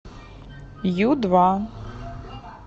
ю два